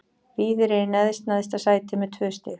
Víðir er í næst neðsta sæti með tvö stig.